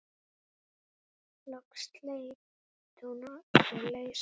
Loks sleit hún sig lausa.